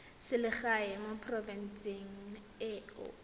selegae mo porofenseng e o